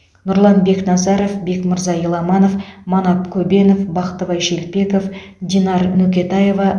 нұрлан бекназаров бекмырза еламанов манап көбенов бақтыбай шелпеков динар нөкетаева